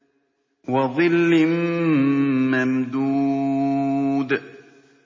وَظِلٍّ مَّمْدُودٍ